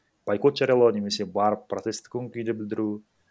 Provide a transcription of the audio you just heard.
бойкот жариялау немесе барып протесттік көңіл күйде білдіру